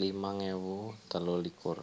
limang ewu telu likur